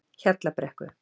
Hjallabrekku